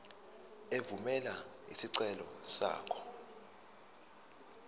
evumela isicelo sakho